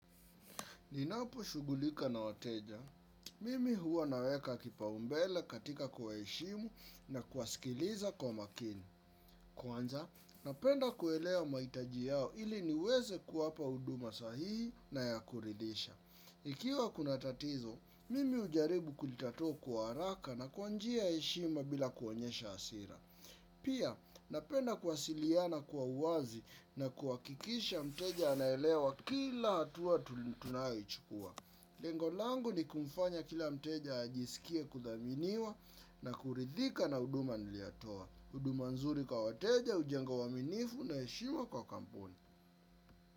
Ninapo shugulika na wateja, mimi huwa naweka kipaumbele katika kwa eshimu na kuasikiliza kwa makini. Kwanza, napenda kuelewa maitaji yao ili niweze kuapa uduma sahihi na ya kuridisha. Ikiwa kuna tatizo, mimi ujaribu kulitatua kwa haraka na kwanjia eshimu bila kuonyesha asira. Pia, napenda kwasiliana kwa uwazi na kwakikisha mteja anaelewa kila hatuwa tunai chukua. Lengo langu ni kumfanya kila mteja ajisikie kuthaminiwa na kuridhika na uduma niliyatoa. Uduma nzuri kwa wateja, ujenga waminifu na eshima kwa kampuni.